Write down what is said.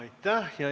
Aitäh!